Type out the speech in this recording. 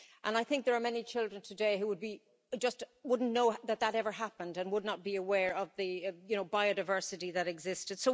And I think there are many children today who just wouldn't know that that ever happened and would not be aware of the biodiversity that existed.